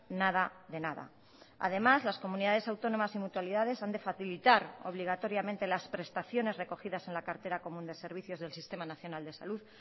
nada de nada además las comunidades autónomas y mutualidades han de facilitar obligatoriamente las prestaciones recogidas en la cartera común de servicios del sistema nacional de salud